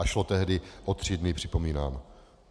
A šlo tehdy o tři dny, připomínám.